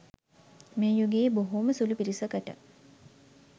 මේ යුගයේ බොහෝම සුළු පිරිසකට